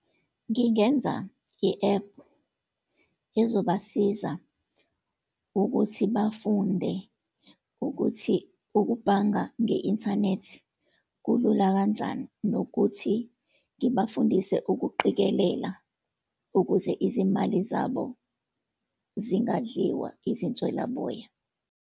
Ngingenza i-app ezobasiza ukuthi bafunde ukuthi ukubhanga nge-inthanethi kulula kanjani, nokuthi ngibafundise ukuqikelela ukuze izimali zabo zingadliwa izinswelaboya.